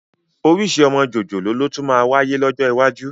Orísìí ọmọ jòjòló ló tún máa wáyé lọ́jọ́ iwájú